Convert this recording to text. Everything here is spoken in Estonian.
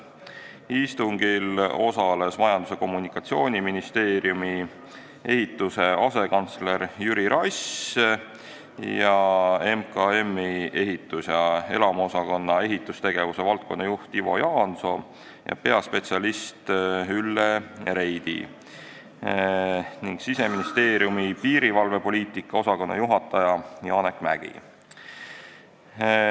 Istungil osalesid Majandus- ja Kommunikatsiooniministeeriumi ehituse asekantsler Jüri Rass, Majandus- ja Kommunikatsiooniministeeriumi ehitus- ja elamuosakonna ehitustegevuse valdkonnajuht Ivo Jaanisoo ja peaspetsialist Ülle Reidi ning Siseministeeriumi piirivalvepoliitika osakonna juhataja Janek Mägi.